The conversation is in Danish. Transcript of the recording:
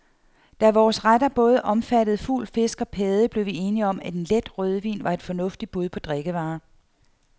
Da vores retter både omfattede fugl, fisk og padde, blev vi enige om, at en let rødvin var et fornuftigt bud på drikkevarer.